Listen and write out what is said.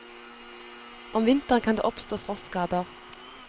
Om vinteren kan det oppstå frostskader.